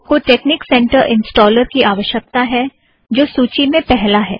आपको technic centre installer की आवश्यकता है जो सूची में पहला है